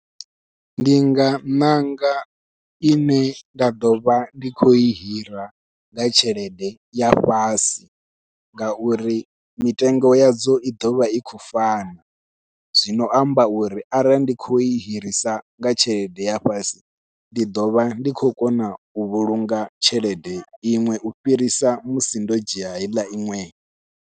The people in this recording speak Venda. Ndi nga ṋanga ine nda ḓovha ndi khou i hira nga tshelede ya fhasi, ngauri mitengo yadzo i ḓovha i khou fana zwino amba uri arali ndi khou i hirisa nga tshelede ya fhasi ndi ḓovha ndi khou kona u vhulunga tshelede iṅwe u fhirisa musi ndo dzhia heiḽa iṅwe.